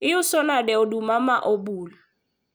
iuso nade oduma ma obul?